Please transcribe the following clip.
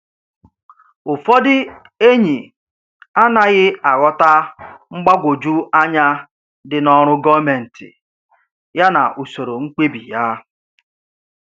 Ụfọdụ enyi anaghị aghọta mgbagwoju anya dị n’ọrụ gọọmentị ya na usoro mkpebi ya.